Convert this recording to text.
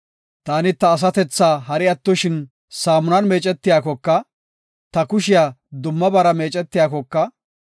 Taani ta asatethaa hari attoshin saamunan meecetiyakoka, ta kushiya dummabaara meecetiyakoka,